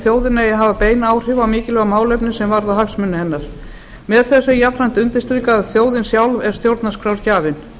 eigi að hafa bein áhrif á mikilvæg málefni sem varða hagsmuni hennar með þessu er jafnframt undirstrikað að þjóðin sjálf er stjórnarskrárgjafinn